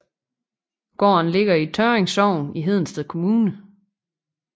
Gården ligger i Tørring Sogn i Hedensted Kommune